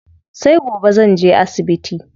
Sai gobe zanje asibiti.